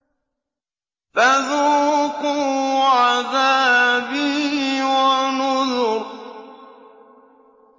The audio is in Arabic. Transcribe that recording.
فَذُوقُوا عَذَابِي وَنُذُرِ